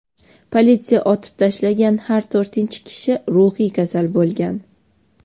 Politsiya otib tashlagan har to‘rtinchi kishi ruhiy kasal bo‘lgan.